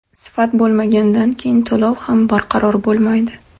Sifat bo‘lmagandan keyin to‘lov ham barqaror bo‘lmaydi.